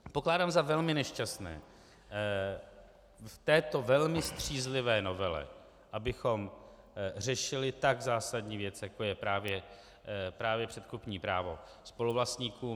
Pokládám za velmi nešťastné v této velmi střízlivé novele, abychom řešili tak zásadní věc, jako je právě předkupní právo spoluvlastníků.